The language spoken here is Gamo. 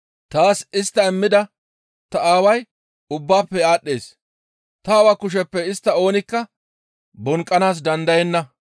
Taas istta immida ta Aaway ubbaafe aadhdhees; ta Aawa kusheppe istta oonikka bonqqanaas dandayenna.